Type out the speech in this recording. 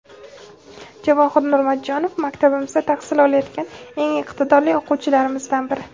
Javohir Nurmatjonov - maktabimizda tahsil olayotgan eng iqtidorli o‘quvchilarimizdan biri.